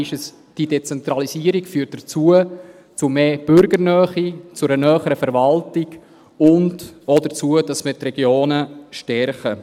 Diese Dezentralisierung führt zu mehr Bürgernähe, zu einer näheren Verwaltung und auch dazu, dass wir die Regionen stärken.